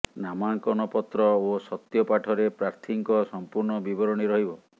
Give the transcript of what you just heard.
ନାମାଙ୍କନ ପତ୍ର ଓ ସତ୍ୟ ପାଠରେ ପ୍ରାର୍ଥୀଙ୍କ ସଂପୂର୍ଣ୍ଣ ବିବରଣୀ ରହିବ